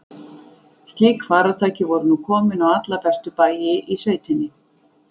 Slík farartæki voru nú komin á alla helstu bæi í sveitinni.